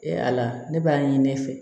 E ala ne b'a ɲini ne fɛ